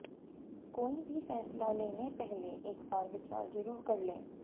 कोई भी फैसला लेने पहले एक बार विचार जरुर कर लें